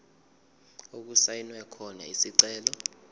okusayinwe khona isicelo